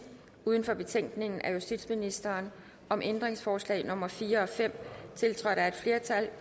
uden for betænkningen af justitsministeren om ændringsforslag nummer fire og fem tiltrådt af et flertal